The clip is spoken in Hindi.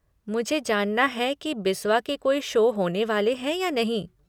मुझे जानना है कि बिस्वा के कोई शो होने वाले हैं या नहीं।